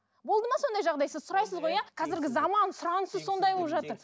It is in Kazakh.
болды ма сондай жағдай сіз сұрайсыз ғой иә қазіргі заман сұранысы сондай болып жатыр